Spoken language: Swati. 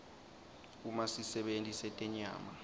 uma sisebenti setenyama